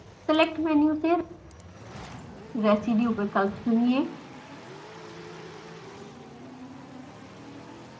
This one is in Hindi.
select मेनू से residue विकप्ल चुनिए